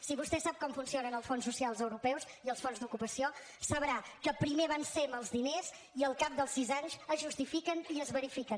si vostè sap com funcionen els fons socials europeus i els fons d’ocupació sabrà que primer avancem els diners i al cap dels sis anys es justifiquen i es verifiquen